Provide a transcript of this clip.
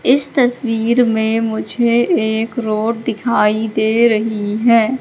इस तस्वीर में मुझे एक रोड दिखाई दे रही है।